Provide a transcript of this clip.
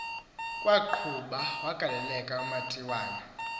kwaqhuba wagaleleka umatiwana